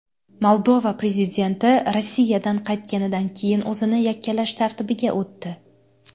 Moldova prezidenti Rossiyadan qaytganidan keyin o‘zini yakkalash tartibiga o‘tdi.